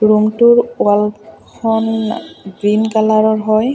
Room টোৰ wall খন green কালাৰৰ হয়।